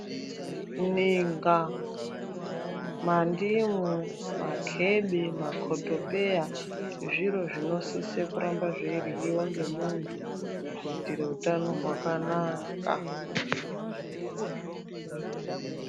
Ninga, mandimu, makhebe, makhotopeya, zviro zvinosise kuramba zveiryiwa ngemuntu kuitira utano hwakanaka.